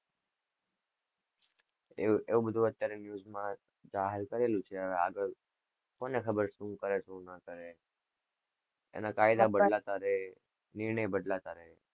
એવું, એવું બધું અત્યારે news માં આવે છે, જાહેર કરેલું છે, હવે આગળ કોને ખબર, શું કરે, શું ન કરે? એના કાયદા બદલાતા રેય. નિર્ણય બદલાતા રેય.